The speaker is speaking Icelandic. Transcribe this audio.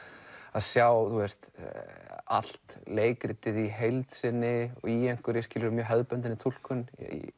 að sjá allt leikritið í heild sinni í hefðbundinni túlkun